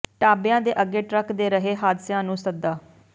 ਢਾਬਿਆਂ ਦੇ ਅੱਗੇ ਟਰੱਕ ਦੇ ਰਹੇ ਹਾਦਸਿਆਂ ਨੂੰ ਸੱਦਾ